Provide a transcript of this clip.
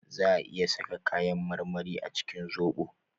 Zaa a iya saka kayan marmari a cikin zobo